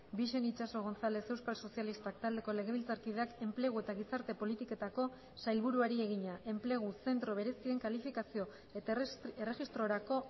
bixen itxaso gonzález euskal sozialistak taldeko legebiltzarkideak enplegu eta gizarte politiketako sailburuari egina enplegu zentro berezien kalifikazio eta erregistrorako